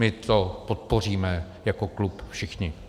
My to podpoříme jako klub všichni.